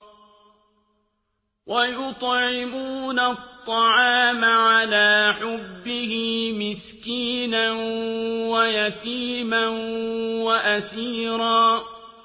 وَيُطْعِمُونَ الطَّعَامَ عَلَىٰ حُبِّهِ مِسْكِينًا وَيَتِيمًا وَأَسِيرًا